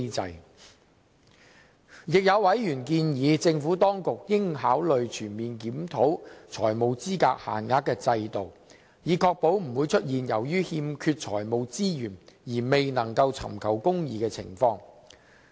此外，有委員建議政府當局應考慮全面檢討財務資格限額制度，以確保不會出現由於欠缺財務資源而未能尋求公義的情況。